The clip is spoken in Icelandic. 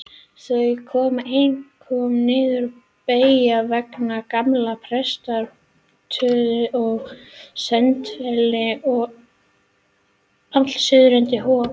Þau komu einkum niður beggja vegna gamla prestsetursins að Sandfelli og allt suður undir Hof.